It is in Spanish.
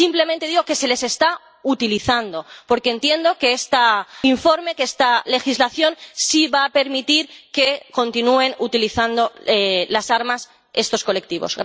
Simplemente digo que se les está utilizando porque entiendo que este informe, que esta legislación, sí va a permitir que continúen utilizando las armas estos colectivos.